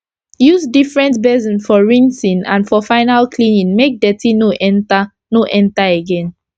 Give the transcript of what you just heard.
use different basin for rinsing and for final cleaning make dirty no enter no enter again